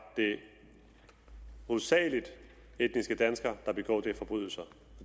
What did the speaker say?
det hovedsagelig etniske danskere der begår de forbrydelser